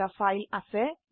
নামক একটি ফাইল আছে